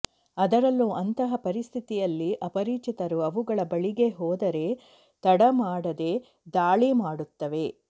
ಅದರಲ್ಲೂ ಅಂತಹ ಪರಿಸ್ಥಿತಿಯಲ್ಲಿ ಅಪರಿಚಿತರು ಅವುಗಳ ಬಳಿಗೆ ಹೋದರೆ ತಡ ಮಾಡದೆ ದಾಳಿ ಮಾಡುತ್ತವೆ